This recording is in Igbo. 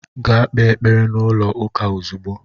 Gaa kpee ekpere n'ụlọ ụka ozugbo!